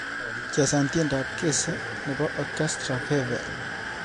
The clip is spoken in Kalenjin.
Chesan tyendab kese nebo orchestra fefe